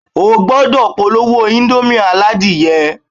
O gbúdọ̀ polówó índómì aládìyẹ